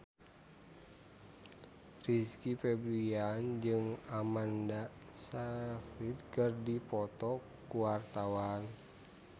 Rizky Febian jeung Amanda Sayfried keur dipoto ku wartawan